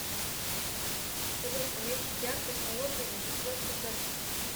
салют уменьшить яркость на лоджии на пятьдесят процентов